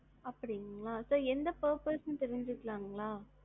அப்டிங்களா, sir என்ன purpose னு தெரிஞ்சுக்கலாங்களா?